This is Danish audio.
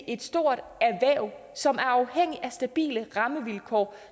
et stort erhverv som er afhængig af stabile rammevilkår og